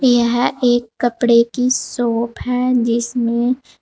यह एक कपड़े की शॉप है जिसमे--